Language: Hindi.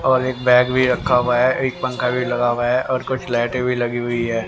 ऑरेंज बैग भी रखा हुआ है एक पंखा भी लगा हुआ है और कुछ लाइटें भी लगी हुई है।